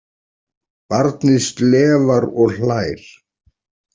Barnið slefar og hlær.